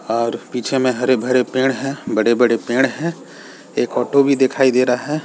और पीछे में हरे-भरे पेड़ हैं बड़े-बड़े पेड़ हैं। एक ऑटो भी दिखाई दे रहा है।